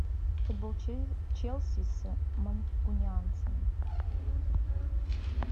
футбол челси с манкунианцами